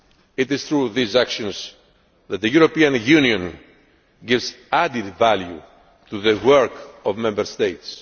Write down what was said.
It is through these actions that the European Union gives added value to the work of Member States.